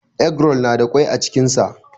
Eggroll na da kwai a cikin sa.